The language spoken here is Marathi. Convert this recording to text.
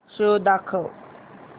शो दाखव